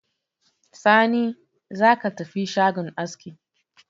Sani, za ka tafi shagon aski